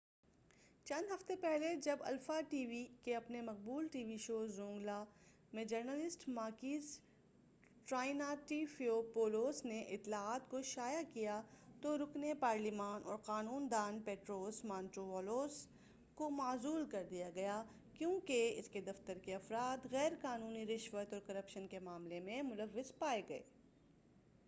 چند ہفتے پہلے جب الفا ٹی وی کے اپنے مقبول ٹی وی شو زونگلا میں جرنلسٹ ماکیس ٹرائنٹافئیپولوس نے اطلاعات کو شائع کیا تو رکنِ پارلیماں اورقانون داں پٹروس مانٹووالوس کو معزول کر دیا گیا کیوں کہ اس کے دفتر کے افراد غیر قانونی رشوت اور کرپشن کے معاملہ میں ملوَّث پائے گئے